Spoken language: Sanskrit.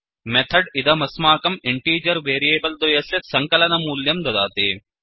मेथड् इदमस्माकम् इण्टीजर् वेरियेबल् द्वयस्य सङ्कलनमूल्यं ददाति